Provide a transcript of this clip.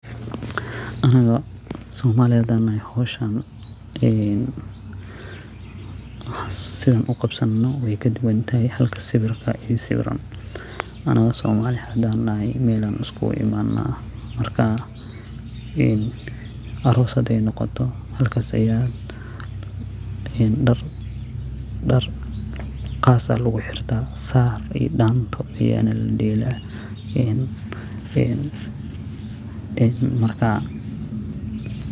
Anaga somali hadan nahay howshan ee sidan uqabsano way kaduban tahay halka sawirka iyo sawiran, anaga somali hadan nahay Mel ayan iskugu imanaa marka aros haday noqoto halkas aya dhar qaas ah lugu xirta saar iyo dhanto ayana ladheela en marka